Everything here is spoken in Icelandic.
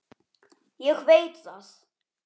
Ég veit það